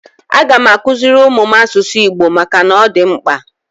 Aga m akuziri ụmụ m asụsụ Igbo maka na ọ dị mkpa.